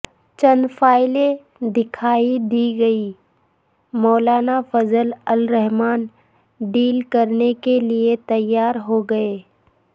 چند فائلیں دکھا دی گئیں مولانا فضل الرحمن ڈیل کرنے کیلئے تیار ہو گئے